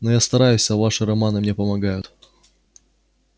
но я стараюсь а ваши романы мне помогают